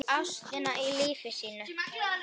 Ástina í lífi sínu.